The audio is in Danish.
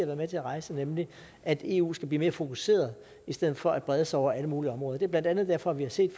med til at rejse nemlig at eu skal blive mere fokuseret i stedet for at brede sig over alle mulige områder det er blandt andet derfor at vi har set